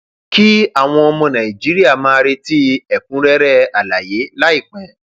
kí àwọn ọmọ nàìjíríà máa retí ẹkúnrẹrẹ àlàyé láìpẹ